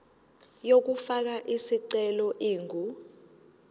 yokufaka isicelo ingu